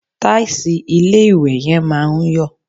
Tàìsì ilé-ìwẹ̀ yẹn máa ń yọ̀